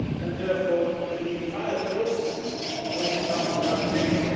Therefore we need other processes when it comes to cultivation.